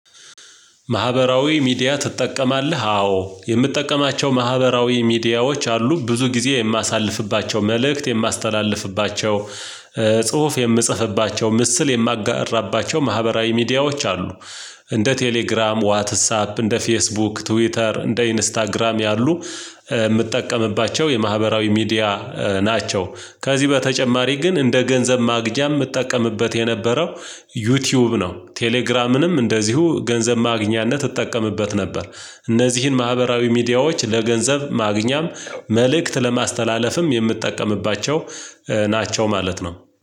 ማህበራዊ ሚዲያ ትጠቀማለህ? አዎ የምጠቀማቸው ማህበራዊ ሚዲያዎች አሉ ብዙ ጊዜ የማሳልፍባቸው መልእክት የማስተላልፍባቸው ጽሁፍ የምጽፍባቸው ምስል የማጋራባቸው ማህበራዊ ሚዲያዎች አሉ። እንደ ቴሌግራም ዋትሳፕ እንደ ፌስቡክ ትዊተር እንደ ኢንስታግራም ያሉ የምትጠቀምባቸው የማህበራዊ ሚዲያ ናቸው። ከዚህ በተጨማሪ ግን እንደ ገንዘብ ማግኛ የምትጠቀምበት የነበረው ዩቲዩብ ነው። ቴሌግራምንም እንደዚሁ ገንዘብ ማግኛነት እጠቀምበት ነበር። እነዚህን ማህበራዊ ሚዲያዎች ለገንዘብ ማግኛም መልእክት ለማስተላለፍም የምትጠቀምባቸው ናቸው ማለት ነው